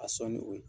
A sɔn ni o ye